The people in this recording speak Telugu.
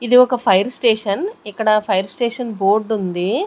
ఇది ఒక ఫైర్ స్టేషన్ ఇక్కడ ఫైర్ స్టేషన్ బోర్డ్ ఉంది.